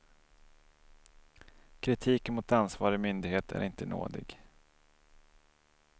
Kritiken mot ansvarig myndighet är inte nådig.